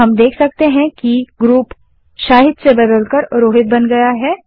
अब हम देख सकते हैं कि ग्रुप शाहिद से बदलकर रोहित बन गया है